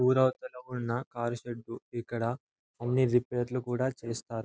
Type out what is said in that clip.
ఊరవతల ఉన్న car shed . ఇక్కడ అన్ని రిపేర్ లు కూడా చేస్తారు.